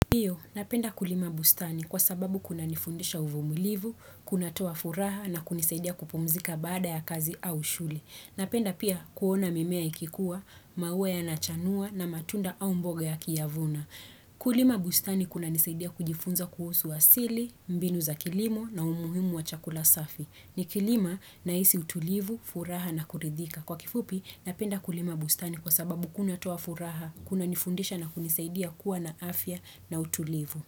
Ndio, napenda kulima bustani kwa sababu kuna nifundisha uvumilivu, kuna toa furaha na kunisaidia kupumzika baada ya kazi au shughuli. Napenda pia kuona mimea ikikuwa, maua ya nachanua na matunda au mboga ya kiavuna. Kulima bustani kuna nisaidia kujifunza kuhusu asili, mbinu za kilimo na umuhimu wa chakula safi. Ni kilima na isi utulivu, furaha na kuridhika. Kwa kifupi napenda kulima bustani kwa sababu kuna toafuraha, kuna nifundisha na kunisaidia kuwa na afya na utulivu.